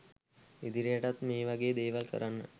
ඉදිරියටත් මේ වගේ දේවල් කරන්න